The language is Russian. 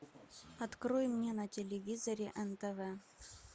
открой мне на телевизоре нтв